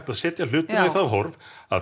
að setja hlutina í þá horf að